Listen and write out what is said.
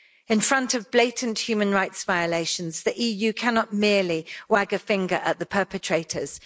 In front of blatant human rights violations, the EU cannot merely wag a finger at the perpetrators.